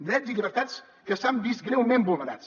drets i llibertats que s’han vist greument vulnerats